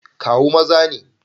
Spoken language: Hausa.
Kawu maza ne.